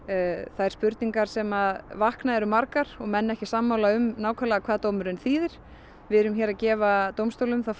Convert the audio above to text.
þær spurningar sem vakna eru margar og menn eru ekki sammála um nákvæmlega hvað dómurinn þýðir við erum að gefa dómstólnum það